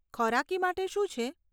ખોરાકી માટે શું છે?